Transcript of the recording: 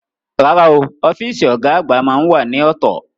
Rárá o, ọ́fíìsì ọ̀gá àgbà máá ń wà ní ọ̀tọ̀